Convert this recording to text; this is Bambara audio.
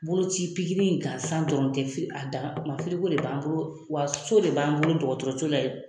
Boloci in gasan dɔrɔn tɛ adama de b'an bolo wa so de b'an bolo dɔgɔtɔrɔso la ye.